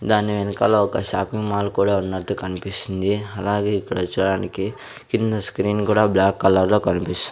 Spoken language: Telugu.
దాని వెనకాల ఒక షాపింగ్ మాల్ కూడా ఉన్నట్టు కనిపిస్తుంది అలాగే ఇక్కడ చూడడానికి కింద స్క్రీన్ కూడా బ్లాక్ కలర్ లో కనిపిస్ --